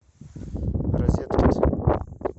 розеткед